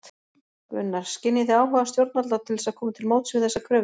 Gunnar: Skynjið þið áhuga stjórnvalda til þess að koma til móts við þessar kröfur?